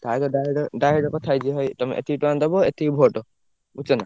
ତା ସହ direct direct କଥା ହେଇ ଯିବ ଭାଇ ତମେ ଏତିକି ଟଙ୍କା ଦବ ଏତିକି vote ବୁଝୁଛନା?